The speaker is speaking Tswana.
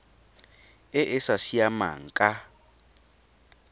e e sa siamang ka